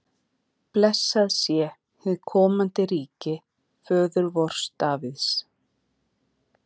Blessað sé hið komandi ríki föður vors Davíðs!